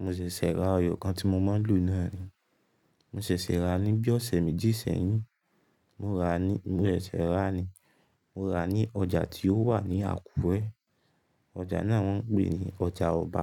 Mo ṣẹ̀ṣẹ̀ ra eyọ kan tí mo máa ń lò náà ni. Mo ṣẹ̀ṣẹ̀ ràá ní bí ọ̀sẹ̀ méjì sẹ́yìn. Mo ràá ní, mo ṣẹ̀ṣẹ̀ ra ni. Mo rà ní ọjà tí ó wà ní Àkúrẹ́. Ọjà náà wọ́n ń pè ní ọjà ọba.